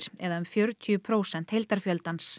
eða um fjörutíu prósent